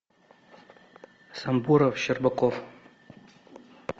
сабуров щербаков